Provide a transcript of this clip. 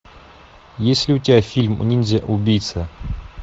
есть ли у тебя фильм ниндзя убийца